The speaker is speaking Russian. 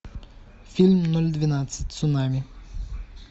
фильм ноль двенадцать цунами